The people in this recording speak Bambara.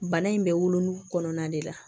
Bana in bɛ wolon kɔnɔna de la